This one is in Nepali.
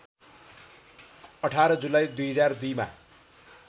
१८ जुलाई २००२ मा